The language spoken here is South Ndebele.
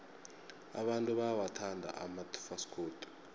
abantu bayawathanda amafasikodi